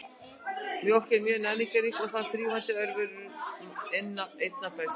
Mjólk er mjög næringarrík og þar þrífast örverur einna best.